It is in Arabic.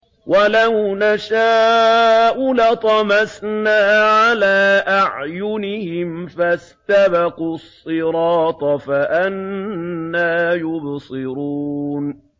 وَلَوْ نَشَاءُ لَطَمَسْنَا عَلَىٰ أَعْيُنِهِمْ فَاسْتَبَقُوا الصِّرَاطَ فَأَنَّىٰ يُبْصِرُونَ